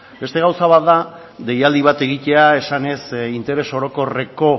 beste gauza bat da deialdi bat egitea esanez interes orokorreko